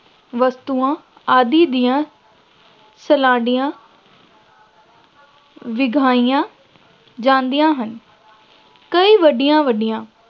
ਵਸਤੂਆਂ ਆਦਿ ਦੀਆਂ ਸਲਾਈਡਾਂ ਵਿਖਾਈਆਂ ਜਾਂਦੀਆਂ ਹਨ, ਕਈ ਵੱਡੀਆਂ ਵੱਡੀਆਂ